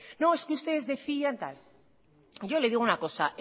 no es que ustedes decían tal yo le digo una cosa